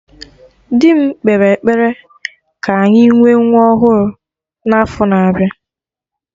Dị m kpere ekpere ka anyị nwee nwa ọhụrụ na afo na-abịa